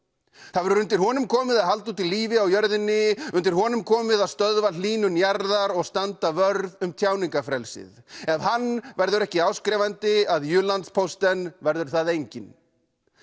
það verður undir honum komið að halda úti lífi á jörðinni undir honum komið að stöðva hlýnun jarðar og standa vörð um tjáningarfrelsið ef hann verður ekki áskrifandi að Jyllandsposten verður það enginn